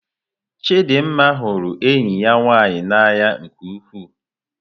Chidinma hụrụ enyi ya nwanyị n'anya nke ukwuu.